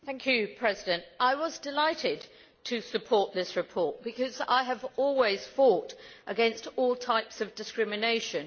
Mr President, I was delighted to support this report because I have always fought against all types of discrimination.